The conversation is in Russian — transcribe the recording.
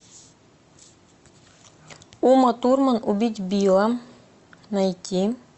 ума турман убить билла найти